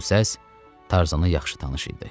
Bu səs Tarzana yaxşı tanış idi.